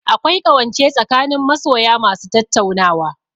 Akwai ƙawance tsakanin masoya ma su tattaunawa